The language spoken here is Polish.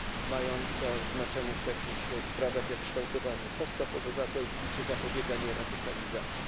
mająca znaczenie w takich sprawach jak kształtowanie postaw obywatelskich czy zapobieganie radykalizacji.